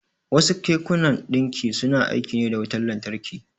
Wasu kekunan ɗinki suna aiki ne da wutan lantarki.